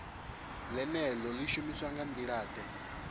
ḽeneḽo ḽi shumiswa nga nḓilaḓe